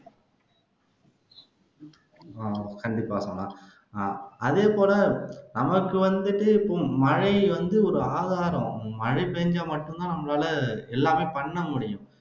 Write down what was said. அஹ் கண்டிப்பா சோனா அஹ் அதேபோல நமக்கு வந்துட்டு மழை வந்து ஒரு ஆதாரம் மழை பெய்ஞ்சா மட்டும்தான் நம்மளால எல்லாமே பண்ணமுடியும்